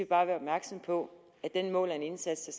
bare være opmærksomme på at den måler en indsats